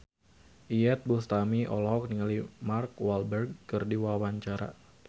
Iyeth Bustami olohok ningali Mark Walberg keur diwawancara